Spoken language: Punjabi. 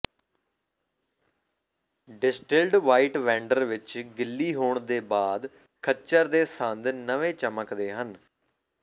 ਡਿਸਟਿਲਿਡ ਵ੍ਹਾਈਟ ਵੈਂਡਰ ਵਿੱਚ ਗਿੱਲੀ ਹੋਣ ਦੇ ਬਾਅਦ ਖੱਚਰ ਦੇ ਸੰਦ ਨਵੇਂ ਚਮਕਦੇ ਹਨ